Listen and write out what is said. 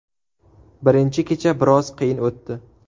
Birinchi kecha biroz qiyin o‘tdi.